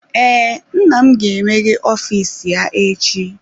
Ee, nna m ga-emeghe ọfịs ya echi.